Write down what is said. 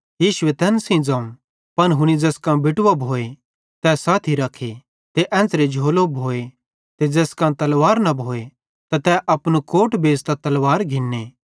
यीशु तैन सेइं ज़ोवं पन हुनी ज़ैस कां बेटवो भोए ते साथी रखे ते एन्च़रे झोलो भी ते ज़ैस कां तलवार न भोए तै अपनू कोट बेच़तां भी तलवार घिन्ने